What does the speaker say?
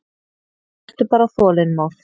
Vertu bara þolinmóð.